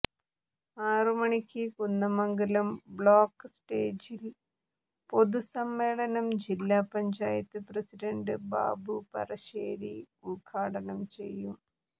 ആറു മണിക്ക് കുന്ദമംഗലം ബ്ലോക്ക് സ്റ്റേജിൽ പൊതുസമ്മേളനം ജില്ല പഞ്ചായത്ത് പ്രസിഡൻറ് ബാബു പറശ്ശേരി ഉദ്ഘാടനം ചെയ്യും